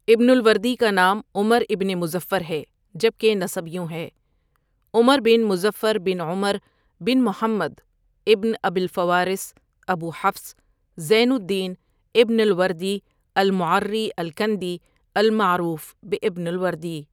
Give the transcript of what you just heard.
ابن الوردی کا نام عمر ابن مظفر ہے جبکہ نسب یوں ہے عمر بن مظفر بن عمر بن محمد ابن ابی الفوارس، ابو حفص، زين الدين ابن الوردی المعرّی الكندی المعروف بہ ابن الوردی۔